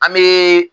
An bɛ